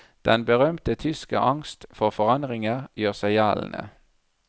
Den berømte tyske angst for forandringer gjør seg gjeldende.